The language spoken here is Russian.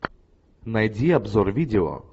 найди обзор видео